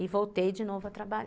E voltei de novo a trabalhar.